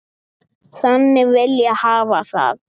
Þannig vil ég hafa það.